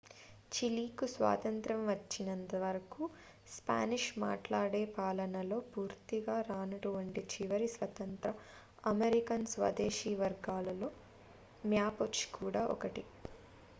చిలీకు స్వాతంత్య్రం వచ్చినంత వరకు స్పానిష్ మాట్లాడే పాలనలో పూర్తిగా రానటువంటి చివరి స్వతంత్ర అమెరికన్ స్వదేశీ వర్గాలలో మ్యాపుచె కూడా ఒకటి